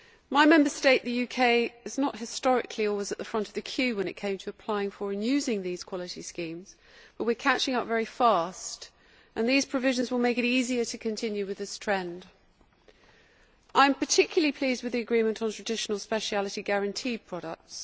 My Member State, the UK, has not historically always been at the front of the queue when it came to applying for and using these quality schemes, but we are catching up very fast. These provisions will make it easier to continue with this trend. I am particularly pleased with the agreement on Traditional Speciality Guaranteed products.